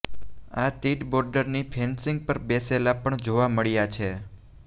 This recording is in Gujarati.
આ તીડ બોર્ડરની ફેન્સિંગ પર બેસેલા પણ જોવા મળ્યા છે